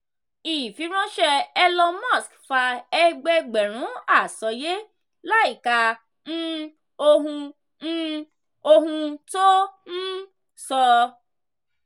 ifiranṣẹ elon musk fa ẹgbẹẹgbẹ̀rún àsọyé láìka um ohun um ohun tó um sọ.